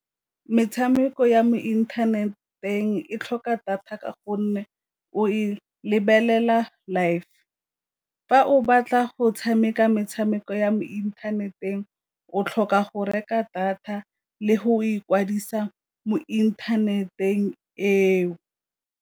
Metshameko ya mo inthaneteng e tlhoka data ka gonne o e lebelela live, fa o batla go tshameka metshameko ya mo inthaneteng o tlhoka go reka data le go ikwadisa mo inthaneteng eo.